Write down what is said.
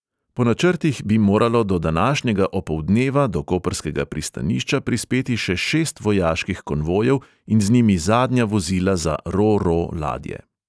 Po načrtih bi moralo do današnjega opoldneva do koprskega pristanišča prispeti še šest vojaških konvojev in z njimi zadnja vozila za ro-ro ladje.